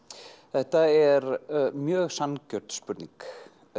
þetta er mjög sanngjörn spurning